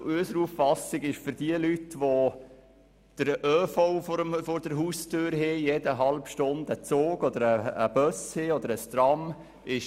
Unseres Erachtens ist dies für Leute mit dem ÖV vor der Tür zumutbar, bei denen jede halbe Stunde ein Zug, Bus oder Tram fährt.